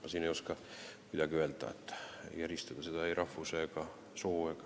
Ma ei oska siin midagi rohkem öelda, ei oska eristada siin ei rahvuse ega soo järgi.